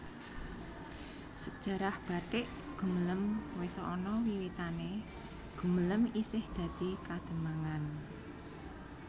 Sejarah batik Gumelem wis ana wiwitanè Gumelem isih dadi Kademangan